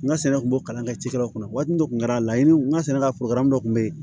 N ka sɛnɛ kun bɔ kalan kɛ cikɛlaw kunna waati dɔ tun kɛra laɲini n ka sɛnɛkɛlaw kun bɛ yen